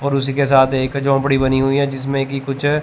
और उसी के साथ एक झोपड़ी बनी हुई है जिसमें कि कुछ--